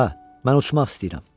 Hə, mən uçmaq istəyirəm.